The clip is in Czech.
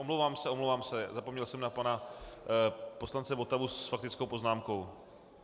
Omlouvám se, omlouvám se, zapomněl jsem na pana poslance Votavu s faktickou poznámkou.